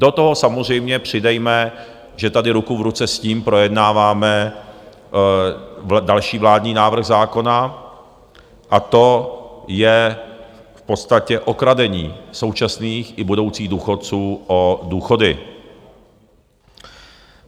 Do toho samozřejmě přidejme, že tady ruku v ruce s tím projednáváme další vládní návrh zákona, a to je v podstatě okradení současných i budoucích důchodců o důchody.